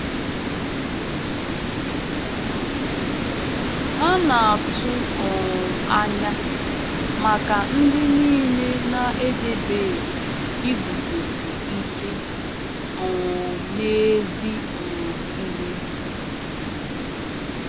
Ha na-atụ um anya maka ndị nile na-edebe iguzosi ike um n'ezi um ihe.